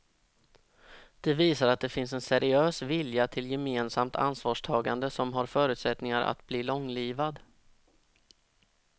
Det visar att det finns en seriös vilja till gemensamt ansvarstagande som har förutsättningar att bli långlivad.